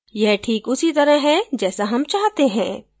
यह ठीक उसी तरह है जैसा हम चाहते हैं